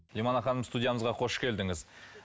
ханым студиямызға хош келдіңіз